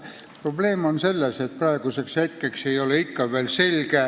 Probleem on selles, et praeguseks hetkeks ei ole ikka veel üks asi selge.